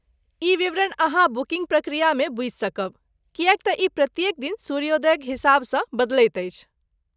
ई विवरण अहाँ बुकिन्ग प्रक्रियामे बूझि सकब, किएक तँ ई प्रत्येक दिन सूर्योदयक हिसाबसँ बदलैत अछि।